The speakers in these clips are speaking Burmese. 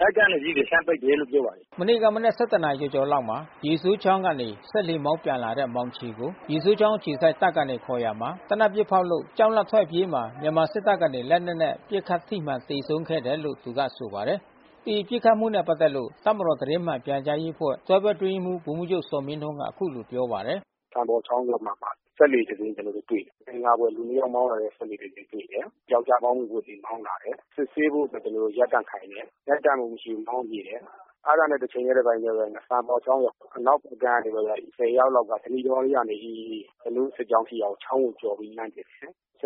တပ်ကနေပြီး လှမ်းပစ်တယ်လို့ပြောပါတယ်။” မနေ့ကမနက် နာရီကျော်ကျော်လောက်မှာ ရေစိုးချောင်းကနေစက်လှေမောင်းပြန်လာတဲ့ မောင်ချေကို ရေစိုးချောင်း အခြေစိုက် တပ်ကနေ ခေါ်ရာမှာ သေနတ်ပစ်ဖောက်လို့ကြောက်လန့်ထွက်အပြေးမှာ မြန်မာစစ်တပ် ကနေ လက်နက်နဲ့ပစ်ခတ်ထိမှန်သေဆုံးခဲ့တယ်လို့ သူကဆိုပါတယ်။ ဒီပစ်ခတ်မှုနဲ့ပက်သက်လို့ တပ်မတော်သတင်းမှန်ပြန်ကြားရေးအဖွဲ့ တွဲဘက်အတွင်းရေးမှူး ဗိုလ်မှူးချုပ် ဇော်မင်းထွန်းက အခုလို ပြောပါတယ်။ “စံပေါ်ချောင်းထဲမှာ စက်လှေတစင်းကျွန်တော်တို့တွေ့တယ်။ မသင်္ကာစရာ လူတယောက်မောင်းလာတဲ့ စက်လှေ တစင်းကျွန်တော်တို့ တွေ့တယ်။ ပြောက်ကျား ဘောင်းဘီဝတ်ပြီးမောင်းလာတယ်။ စစ်ဆေးဖို့ကျွန်တော်တို့ရပ်တန့် ခိုင်းတယ်။ ရပ်တန့်မှု မရှိဘူးမောင်းပြေးတယ်။ အဲတာနဲ့တချိန်ထဲတပြိုင်ထဲဘဲ စံပေါ်ချောင်းရဲ့အနောက်ဖက် ကမ်း ကနေပြီးတော့ ယောက်လောက်က ဓနိတောကနေ ကျွန်တော်တို့စစ်ကြောင်းရှိရာ ချောင်းကိုကျော်ပြီးလှန်း ပစ်တ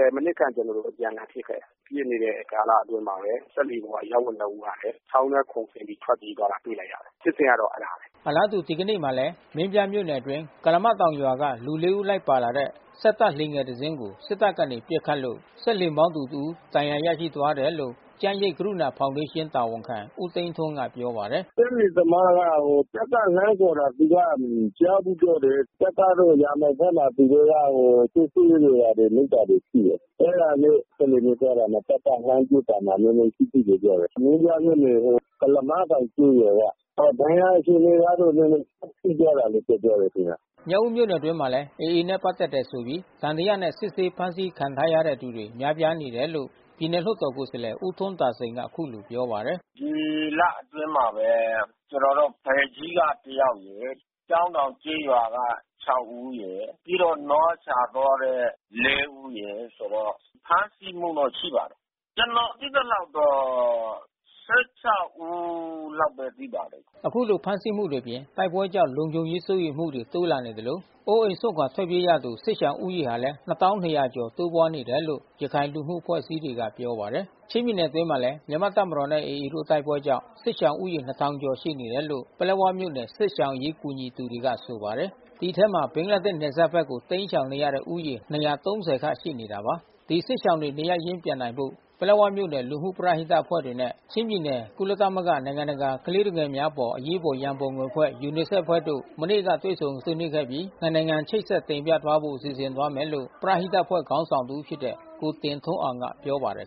ယ်။ မိနစ်ခန့်ကျွန်တော်တို့အပြန်အလှန်ပစ်ခဲ့တယ်။ ပစ်နေတဲ့ကာလအတွင်းမှာဘဲ စက်လှေပေါ် အရပ် ဝတ်နှစ်ဦးကလဲ ချောင်းထဲခုန်ဆင်းပြီးထွက်ပြေးသွားတာတွေ့လိုက်ရတယ်။ ဖြစ်စဉ်ကတော့အဲတာဘဲ။” အလားတူ ဒီကနေ့မှာလဲ မင်းပြားမြို့နယ်အတွင်း ကုလားမတောင်ရွာက လူ ၄ ဦးလိုက်ပါလာတဲ့ စက်တပ်လှေငယ် တစ်စီးကို စစ်တပ်ကနေပစ်ခတ်လို့စက်လှေမောင်းသူတစ်ဦး ဒဏ်ရာရသွားတယ်လို့ ကျန်းရိပ်ကရုဏာဖောင်ဒေး ရှင်းတာဝန်ခံ ဦးသိန်းထွန်းကပြောပါတယ်။ “စက်လှေသမားက တပ်ကလှမ်းခေါ်တာ သူကမကြားဘူးလို့ပြောတယ်။ တပ်ကတော့ ရာမောင်းဖက်မှာ သူတို့က စစ်ဆေးနေတာတွေ လုပ်တာတွေရှိတယ်။ အဲတာနဲ့ စက်လှေနဲ့ သွားတာမှာ တပ်ကလှမ်းပစ်တာမှာနဲနဲ ထိတယ်လို့ပြောတယ်။ မင်းပြားမြို့နယ် ကုလားမတောင်ကျေးရွာက။ ဒဏ်ရာအခြေအနေကတော့ နဲနဲထိသွား တယ်လို့ပြောတယ်ခင်ဗျ။” မြောက်ဦးမြို့နယ်အတွင်းမှာလဲ AAနဲ့ပက်သက်တယ်ဆိုပြီးသံသယနဲ့စစ်ဆေးဖမ်းဆီးခံထားရတဲ့သူတွေ များပြားနေတယ်လို့ ပြည်နယ်လွှတ်တော်ကိုယ်စားလှယ် ဦးထွန်းသာစိန်ကအခုလိုပြောပါတယ်။ “ဒီလအတွင်းမှာဘ ဲကျွန်တေ်ာတို့ဖယ်ကြီးကတယောက်ရယ်။ ကျောင်းတောင်ကျေးရွာက ဦးရယ်။ ပြီးတော့နွားရှာ သွားတဲ့ ဦးရယ်။ ဆိုတော့ဖမ်းဆီးမှုတော့ ရှိပါတယ်။ ကျွန်တော်သိသလောက် ကတော့ ဦးတော့ရှိပါတယ်။” ခုလိုဖမ်းဆီးမှုတွေအပြင် တိုက်ပွဲကြောင့် လုံခြုံရေးစိုးရိမ်မှုတွေ တိုးလာနေသလို ၊ အိုးအိမ်စွန့်ခွာထွက်ပြေးသူ စစ်ရှောင်ဦးရေဟာလည်း ကျော် တိုးပွား လာနေတယ်လို့ ရခိုင်လူမှု အဖွဲ့အစည်းတွေက ပြောပါတယ်။ ချင်းပြည်နယ်အတွင်းမှာလဲ မြန်မာ့တပ်မတော်နဲ့AAတို့တိုက်ပွဲကြောင့် စစ်ရှောင်ဦးရေ ကျော်ရှိနေတယ်လို့ ပလက်ဝမြို့နယ် စစ်ရှောင်အရေးကူညီသူတွေကဆိုပါတယ်။ ဒီအထဲ ဘင်္ဂလားဒေ့ရှ်နယ်စပ်ဘက်ကိုတိမ်းရှောင်နေတဲ့ဦးရေ ခန့်ရှိနေတာပါ။ ဒီစစ်ရှောင်တွေ နေရပ်ရင်းပြန်နိုင်ဖို့ ပလက်ဝမြို့နယ်လူမှုပရဟိတအဖွဲ့တွေနဲ့ချင်းပြည်နယ် ကုလသမဂ္ဂ နိုင်ငံတ ကာကလေးသူငယ်များအပေါ် အရေးပေါ်ရန်ပုံငွေအဖွဲ့ UNICEF အဖွဲ့တို့မနေ့ကတွေ့ဆုံဆွေးနွေးခဲ့ ပြီး နှစ်နိုင် ငံချိတ်ဆက်တင်ပြသွားဖို့စီစဉ်သွားမယ်လို့ ပရဟိတအဖွဲ့ခေါင်းဆောင်တဦးဖြစ်တဲ့ ကိုတင်ထွန်းအောင်က ပြောပါတယ်